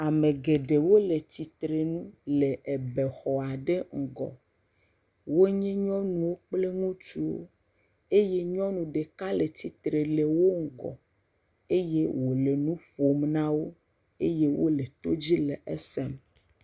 Ame geɖe wole tsitre nu le bexɔ aɖe ŋgɔ. Wonye nyɔnuwo kple ŋutsuwo eye nyɔnu ɖeka le tsitre le wo ŋgɔ eye wole nu ƒom na wo eye wole todzi le esem.